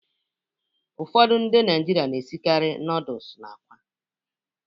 Ụfọdụ ndị Naịjirịa na-esikarị nọdụs na àkwá.